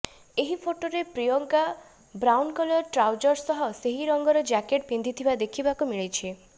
ଏହି ଫଟୋରେ Priyanka brown colour trousers ସହ ସେହି ରଙ୍ଗର ଜ୍ୟାକେଟ୍ ପିନ୍ଧିଥିବା ଦେଖିବାକୁ ମିଳିଛି